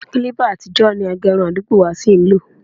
Kílípà àtijọ́ ni agẹrun àdúgbò wa ṣí ń lò